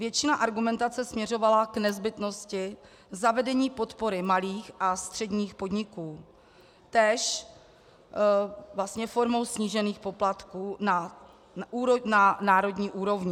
Většina argumentace směřovala k nezbytnosti zavedení podpory malých a středních podniků, též vlastně formou snížených poplatků na národní úrovni.